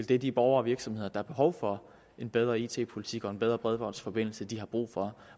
det de borgere og virksomheder har behov for en bedre it politik og en bedre bredbåndsforbindelse har brug for